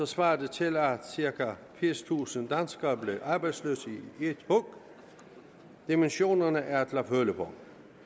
svarer det til at cirka firstusind danskere blev arbejdsløse i et hug dimensionerne er til at føle på